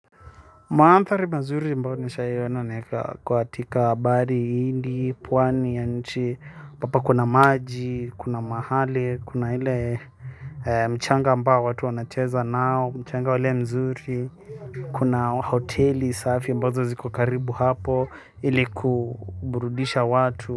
Mandhari mazuri ambayo nishawahi ona ni kwa katika bahari ya hindi pwani ya nchi ambapo kuna maji kuna mahali kuna ile mchanga ambao watu wanacheza nao, mchanga ule mzuri, kuna hoteli safi ambazo ziko karibu hapo ili kuburudisha watu.